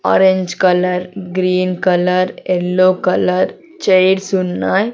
Orange colour green colour yellow colour chairs ఉన్నాయి.